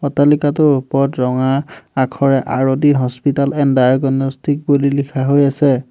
অট্টালিকাটোৰ ওপৰত ৰঙা আখৰে আৰতি হস্পিটেল এণ্ড ডায়েগনেষ্টিক বুলি লিখা হৈ আছে।